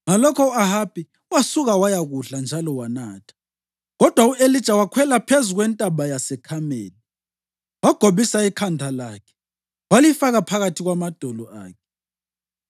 Ngalokho u-Ahabi wasuka wayakudla njalo wanatha, kodwa u-Elija wakhwela phezu kwentaba yaseKhameli, wagobisa ikhanda lakhe walifaka phakathi kwamadolo akhe.